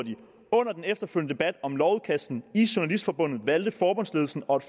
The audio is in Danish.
under den efterfølgende om lovudkastet i journalistforbundet valgte forbundsledelsen og